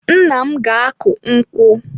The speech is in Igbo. Nna m ga-akụ nkwụ.